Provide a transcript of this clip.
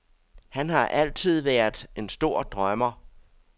Han har altid været en stor drømmer.